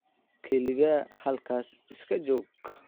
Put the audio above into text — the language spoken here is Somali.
Kaliya halkaas iska joog.